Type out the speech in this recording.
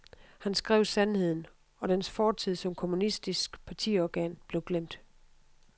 Han skrev sandheden, og dens fortid som kommunistisk partiorgan blev glemt.